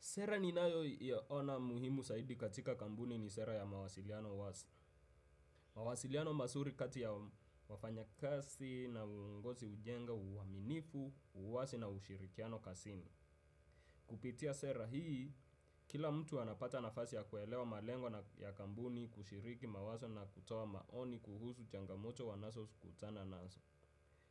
Sera ninayoiona muhimu zaidi katika kampuni ni sera ya mawasiliano wazi. Mawasiliano mazuri kati ya wafanyakazi na uongozi hujenga uaminifu, uwazi na ushirikiano kazini. Kupitia sera hii, kila mtu anapata nafasi ya kuelewa malengo ya kampuni kushiriki mawazo na kutoa maoni kuhusu changamoto wanazokutana nazo.